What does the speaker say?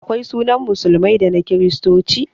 Akwai sunan musulmai da na kiristoci